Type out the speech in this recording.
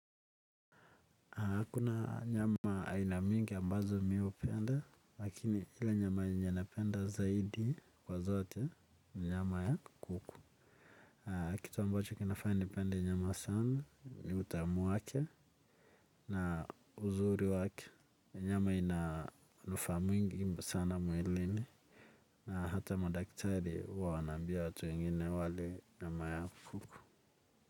Kuna nyama aina mingi amabazo mi hupenda lakini nyama yenye napenda zaidi kwa zote ni nyama ya kuku. Kitu ambacho kinafanya nipende nyama sana ni utamu wake na uzuri wake. Nyama ina manufaa mingi sana mwilini na hata madaktari huwa wana ambia watu wengine wale nyama ya kuku.